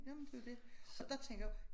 Jamen det jo dét og der tænker jeg